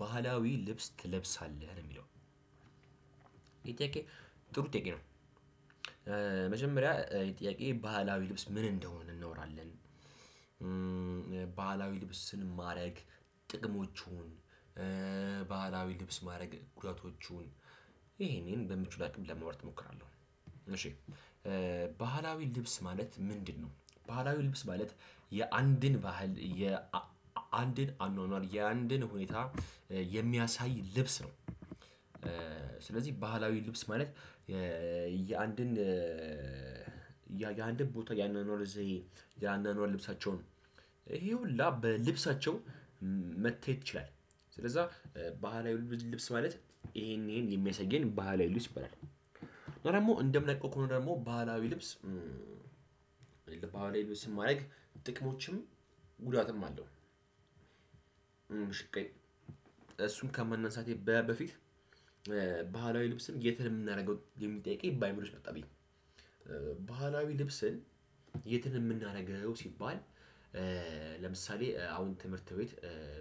ባህላዊ ልብስ ትለብሳለህ ነው የሚለው ይህ ጥሩ ጥያቄ ነው። መጀመሪያ ጥያቄ ባህላዊ ልብስ ምን እንደሆን እናወራለን። ባህላዊ ልብስን ማረግ ጥቅሞቹ ባህላዊ ልብስ ማድረግ ጉዳቶቹን ይሄን ይሄን በምችለው አቅም ለማውራት እሞክራለሁ። እሺ ባህላዊ ልብስ ማለት ምንድነው ባህላዊ ልብስ ማለት የአንድን ባህል የአንድን አኗኗር የአንድን ሁኔታ የሚያሳይ ልብስ ነው። ስለዚህ ባህላዊ ልብስ ማለት የአንድን የአንድን ቦታ የአኗኗር ዘዬ የአኗኗር ልብሳቸውን ይሄ ሁላ በልብሳቸው መታየት ይችላል። ስለዛ ባህላዊ ልብስ ማለት ይሄን ይሄን የሚያሳየን ባህላዊ ልብስ ይባላል። እና ደግሞ እንደምናቀው ከሆነ ደግሞ ባህላዊ ልብስ ባህላዊ ልብስን ማድረግ ጥቅሞችም ጉዳትም አለው። ሽቀኝ እሱን ከማናንሳቴ በፊት ባህላዊ ልብስን የት ነው የምናደርገው የሚል ጥያቄ በአይምሮዬ ውስጥ መጣ ብኝ። ባህላዊ ልብስን የት ነው የምናደርገው ሲባል። ለምሳሌ አሁን ትምህርት ቤት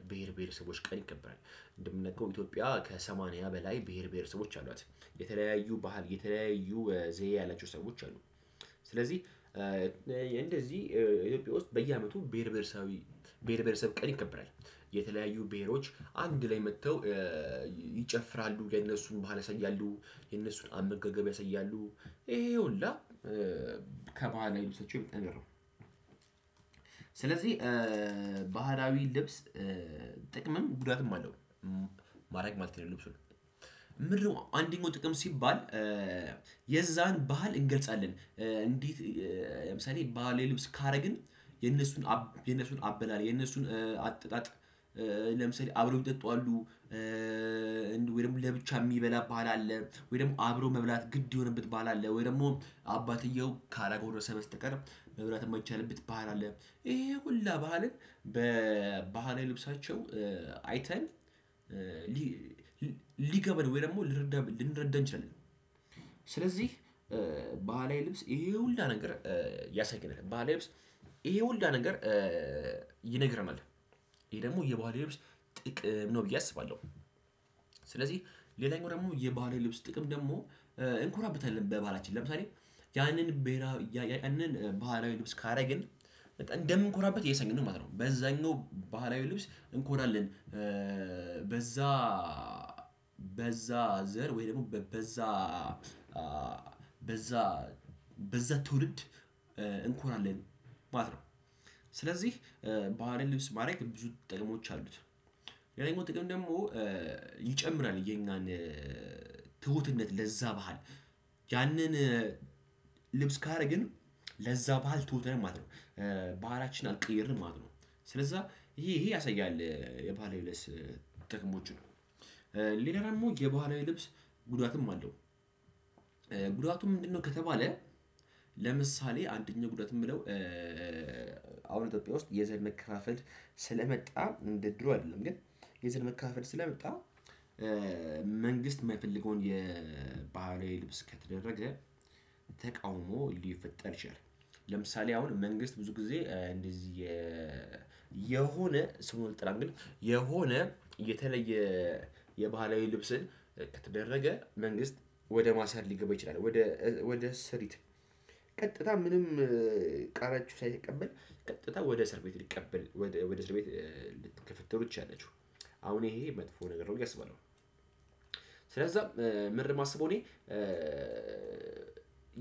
ብሄር ብሄር ሰቦች ቀን ይከበራል። እንደምናቀው ኢትዮጵያ ከሰማንያ በላይ ብሄር ብሄር ሰቦች አሏት የተለያዩ ባህል የተለያዩ ዘይ ያላቸው ሰዎች አሉ። ስለዚህ እንደዚህ ኢትዮጵያ ውስጥ በየ አመቱ ብሄር ብሄረሰቦች ቀን ይከበራል። የተለያዩ ቤሄሮች አንድላይ መጥተው ይጨፍራሉ የእነሱን ባህል ያሳያሉ የነሱን አመጋገብ ያሳያሉ። ከባህላዊ ልብሶች አይነት የምትነግረው? ስለዚህ ባህራዊ ልብስ ጥቅምም ጉዳትም አለው። ማረግ ማለት ነው ልብሱን ምንድነው አንደኛው ጥቅም ሲባል የዛን ባህል እንገልፃለን እንዴት? ለምሳሌ ባህላዊ ልብስ ካረግን የነሱን አበላል የነሱን አጠጣጥ ለምሳሌ አብረው የሚጠጡ አሉ። ወይም ደግሞ ለብቻ የሚበላ ባህል አለ ወይም አብሮ መብላት ግድ የሆነበት ባህል አለ ወይም ደግሞ አባትየው ካላጎረሰ በስተቀር መብላት የማይቻልበት ባህል አለ። ይሄ ሁሉ ባህልን በባህላዊ ልብሳቸው አይተን ሊገባን ወይ ደግሞ ልንረዳ ልንረዳ እንችላለን። ስለዚህ ባህላዊ ልብስ ይሄ ሁላ ነገር ያሳየናል ባህላዊ ልብስ ይሄ ሁላ ነገር ይነግረናል። ይሄ ደግሞ የባህላዊ ልብስ ጥቅም ነው ብዬ አስባለሁ። ስለዚህ ሌላኛው ደግሞ የባህላዊ ልብስ ጥቅም ደግሞ እንኮራብታለን በባህላችን ለምሳሌ ያንን ብሄራዊ ያንን ባህላዊ ልብስ ካደረግን እንደምንኮራበት እያሳየን ነው ማለት ነው በዛኛው ባህላዊ ልብስ እንኮራለን። በዛ በዛ ዘር ወይ ደግሞ በዛ በዛ በዛ ትውልድ እንኮራለን ማለት ነው። ስለዚህ ባህላዊ ልብስ ማድረግ ብዙ ጥቅሞች አሉት። የሌላኛው ጥቅም ደግሞ ይጨምራል የኛን ትሁትነት ለዛ ባህል ያንን ልብስ ካረግን ለዛ ባህል ትሁት ነን ማለት ነው። ባህላችንን አልቀየርንም ማለት ነው። ስለዛ ይሄ ይሄ ያሳያል ባህላዊ ልብስ ጥቅሞች ነው። ሌላ ደግሞ የባህላዊ ልብስ ጉዳትም አለው። ጉዳቱ ምንድነው ከተባለ? ለምሳሌ አንደኛ ጉዳት የምለው አሁን ኢትዮጵያ ውስጥ የዘር መከፋፈል ስለመጣ እንደ ድሮ አይደለም ግን የዘር መከፋፈል ስለመጣ መንግስት የማይፈልገውን የባህላዊ ልብስ ከተደረገ ተቃውሞ ሊፈጠር ይችላል። ለምሳሌ አሁን መንግስት ብዙ ጊዜ እንደዚህ የሆነ ስሙን አልጠራም ግን የሆነ የተለየ የባህላዊ ልብስን ከተደረገ መንግስት ወደ ማሰር ሊገባ ይችላል። ወደ ስሪት ቀጥታ ምንም ቃላቸውን ሳይቀበል ቀጥታ ወደ እስር ቤት ልቀበል ወደ እስር ቤት ልትገፈተሩ ትችላላቹ። አሁን ይሄ መጥፎ ነገር ነው ብዬ አስባለሁ። ስለዛም ምንድነው የማስበው እኔ?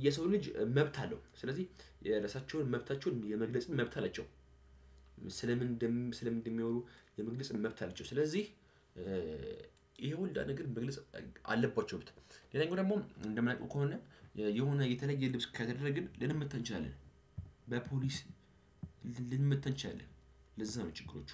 የሰው ልጅ መብት አለው ስለዚህ የራሳቸውን መብታቸውን የመግለጽ መብትም አላቸው። ስለ ምንድን ስለ ምን እንደሚያወሩ የመግለጽ መብት አለችው ስለዚህ። ይሄ ሁላ ነገር መግለጽ አለባቸው። ሌላኛው ደግሞ እንማውቀው ከሆነ የሆነ የተለየ ልብስ ከተደረግን ልንመታ እንችላለን። በፖሊስ ልንመታ እንችላለን። ለዛ ነው ችግሮቹ።